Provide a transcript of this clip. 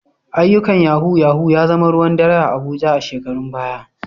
Ayyukan Yahoo yahoo ya zama ruwan dare a Abuja a shekarun baya.